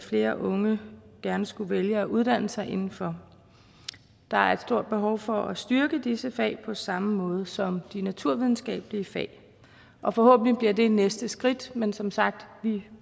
flere unge gerne skulle vælge at uddanne sig inden for der er et stort behov for at styrke disse fag på samme måde som de naturvidenskabelige fag og forhåbentlig bliver det det næste skridt men som sagt